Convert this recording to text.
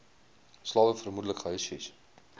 slawe vermoedelik gehuisves